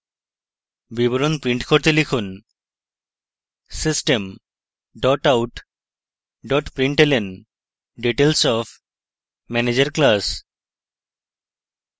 বিবরণ print করতে লিখুন: system out println details of manager class